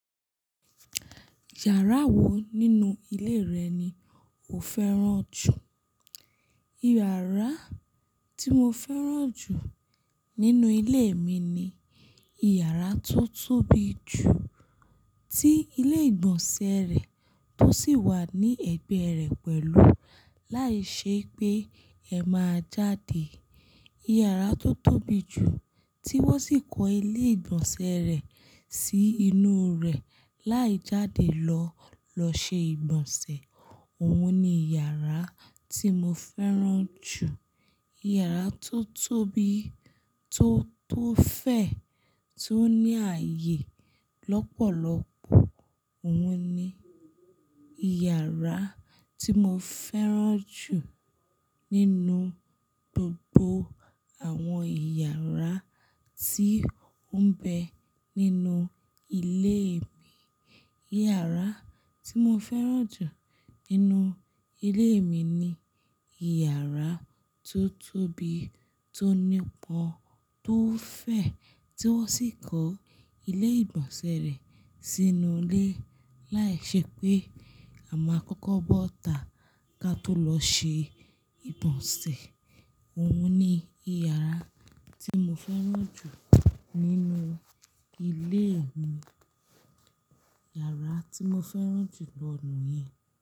Yàrá wo nínú ilé rẹ̀ ni o fẹ́ràn jù? Ìyàrá tí mo fẹ́ràn jù nínú ilé mi ni ìyàrá tó tóbi jù tí ilé ìgbọ̀nsẹ̀ rẹ̀ tó sì wà ní ẹ̀gbẹ́ rẹ̀ pẹ̀lú láìṣé pé ẹ máa jáde. Ìyàrá tó tóbi jù tí wọ́n sì kó ilé ìgbọ̀nsẹ̀ rẹ̀ sí inú rẹ̀ láì jáde lọ, lọ ṣe ìgbọ̀nsẹ̀. Òun ni ìyàrá tí mo fẹ́ràn jù. Ìyàrá tó tóbi, tó tó fẹ̀, tó ní ààyè lọ́pọ̀lọpọ̀. Òun ni ìyàrá tí mo fẹ́ràn jù nínú gbogbo àwọn ìyàrá tí ó ń bẹ nínú ilé mi. Ìyàrá tí mo fẹ́ràn jù nínú ilé mi ni ìyàrá tó tóbi, tó nípọn, tó fẹ̀, tí wọ́n sì kó ilé ìgbọ̀nsẹ̀ rẹ̀ sínú ilé láìṣé pé à ma kọ́kọ́ bọ́ta ká tó lọ ṣe ìgbọ̀nsẹ̀. Òun ni ìyàrá tí mo fẹ́ràn jù nínú ilé mi. Ìyàrá tí mo fẹ́ràn jù lọ̀ niyẹn.